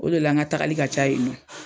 O de la n ka taagali ka ca yen nɔ.